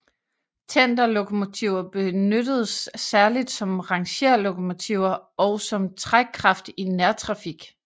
Tenderlokomotiver benyttedes særligt som rangerlokomotiver og som trækkraft i nærtrafik